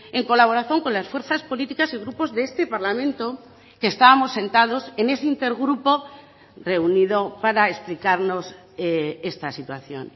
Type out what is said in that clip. en colaboración con las fuerzas políticas y grupos de este parlamento que estábamos sentados en ese inter grupo reunido para explicarnos esta situación